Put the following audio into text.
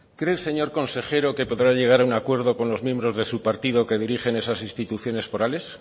cree señor consejero que podrá llegar a un acuerdo con los miembros de su partido que dirigen esas instituciones forales